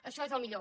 això és el millor